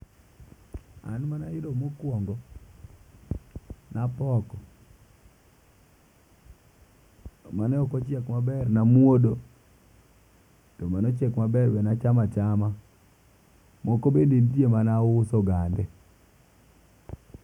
An mana yudo mokwongo napoko mane oko chiek maber namuodo, kendo mochiek maber nachama chama. Moko be ntie mana uso gande